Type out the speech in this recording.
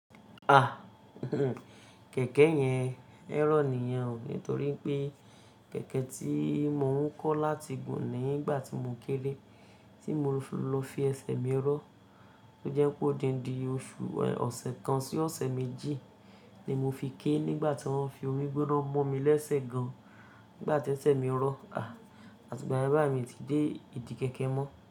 A, o, kẹ̀kẹ́ yẹn error nìyẹn o, nítorí pé kẹ̀kẹ́ tí mo ń kó láti gùn nígbà tí mo kéré tí mo fi lọ fi ẹsẹ̀ mi rọ́, tó jẹ́ pé odindi oṣù ọ̀sẹ̀ kan sí ọ̀sẹ̀ méjì ni mo fi ké nígbà tí wọ́n fi omi gbóná mọ́ mi lẹ́sẹ̀ gan nígbà tí ẹsẹ̀ mi ń rọ́, a, àti ìgbà yẹn báyìí mi ti dé ìdí kẹ̀kẹ́ mọ́